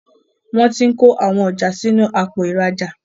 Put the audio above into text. Wón t'in kọ àwọn ọjà sí inú Àpò ìrajà